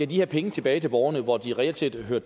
de penge tilbage til borgerne hvor de reelt set hører